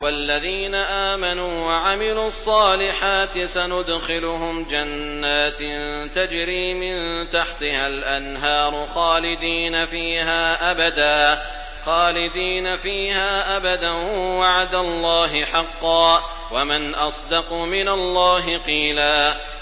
وَالَّذِينَ آمَنُوا وَعَمِلُوا الصَّالِحَاتِ سَنُدْخِلُهُمْ جَنَّاتٍ تَجْرِي مِن تَحْتِهَا الْأَنْهَارُ خَالِدِينَ فِيهَا أَبَدًا ۖ وَعْدَ اللَّهِ حَقًّا ۚ وَمَنْ أَصْدَقُ مِنَ اللَّهِ قِيلًا